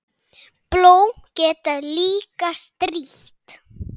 Blóm geta líka strítt.